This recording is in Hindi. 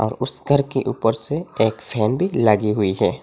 उस घर के ऊपर से एक फैन भी लगी हुई है।